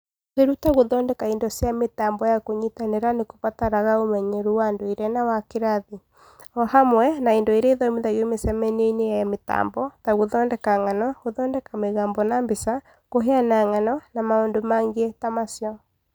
Kwĩruta gũthondeka indo cia mĩtambo ya kũnyitanira nĩ kũbataraga ũmenyeru wa ndũire na wa kĩrathi, o hamwe na indo iria ithomithagio mĩcemanio-inĩ ya mĩtambo (gũthondeka ng'ano, gũthondeka mĩgambo na mbica, kũheana ng'ano, na maũndũ mangĩ ta macio).